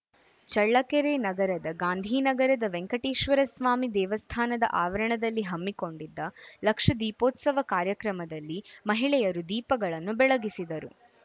ಚಳ್ಳಕೆರೆ ನಗರದ ಗಾಂಧಿನಗರದ ವೆಂಕಟೇಶ್ವರಸ್ವಾಮಿ ದೇವಸ್ಥಾನದ ಆವರಣದಲ್ಲಿ ಹಮ್ಮಿಕೊಂಡಿದ್ದ ಲಕ್ಷ ದೀಪೋತ್ಸವ ಕಾರ್ಯಕ್ರಮದಲ್ಲಿ ಮಹಿಳೆಯರು ದೀಪಗಳನ್ನು ಬೆಳಗಿಸಿದರು